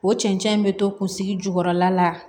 O cɛncɛn in bɛ to kunsigi jukɔrɔla la